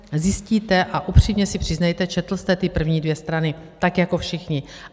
Zjistíte, a upřímně si přiznejte, četl jste ty první dvě strany, tak jako všichni.